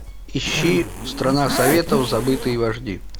ищи страна советов забытые вожди